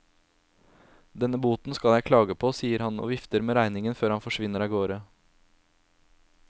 Denne boten skal jeg klage på, sier han og vifter med regningen før han forsvinner av gårde.